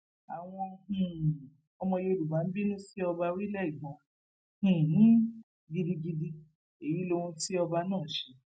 àwọn um ọmọ yorùbá ń bínú sí ọba orílẹ ìgbọn um gidigidi èyí lohun tí ọba náà ṣe